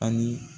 Ani